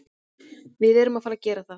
Við erum að fara að gera það.